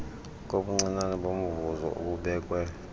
kobuncinane bomvuzo obubekwe